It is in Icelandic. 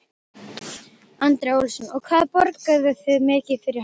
Andri Ólafsson: Og hvað borguðu þið mikið fyrir hana?